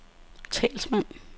talsmand